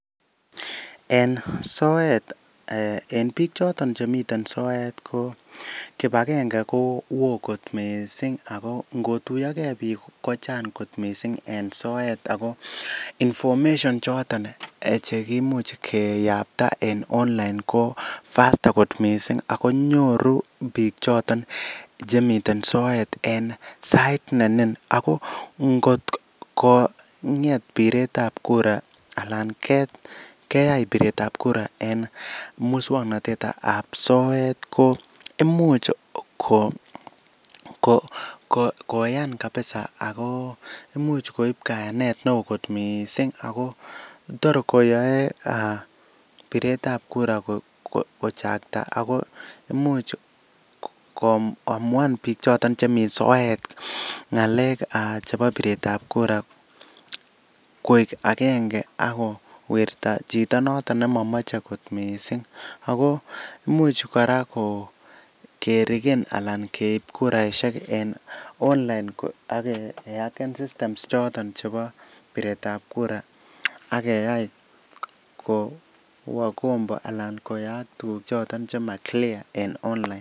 En soet eh en bik choton chemiten soet ko kipagenge ko woo kot missing ngotuyogee bik kochang kot missing en soet ako information choton chekimuche keyapta en online ko faster kot missing ako nyoru bik choton chemiten soet en sait nenin Ako ngotko nget piretab kuraa ana keyai piretab kuraa en muswoknotetab soet ko imuch ko koyan kabisa ako imuch koib koyan neo kot missing ako tor koyoe piretab kura kochakta ako imuch koamuan bik choton chemii soet ngalek ah chebo piretab kuraa koik agenge ak kowirta chito noton nemomoche kit missing, ako imuch kora ko kerigen ana keib kuraishek en online ak keaken systems choton chebo piretab kuraa ak keyai ko kowo kombo ana koyaak tukuk choton chema clear en online.